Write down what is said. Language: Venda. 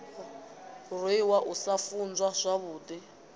rwiwa u sa funzwa zwavhudi